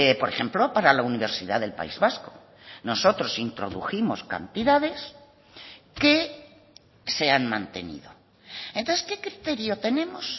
por ejemplo para la universidad del país vasco nosotros introdujimos cantidades que se han mantenido entonces qué criterio tenemos